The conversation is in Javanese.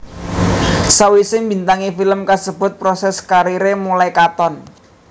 Sawisé mbintangi film kasebut proses kariré mulai katon